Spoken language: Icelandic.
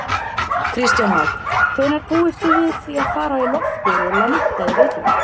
Kristján Már: Hvenær búist þið við því að fara í loftið og lenda í Reykjavík?